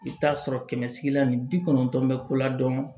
I bɛ taa sɔrɔ kɛmɛ se la ni bi kɔnɔntɔn bɛ ko la dɔrɔn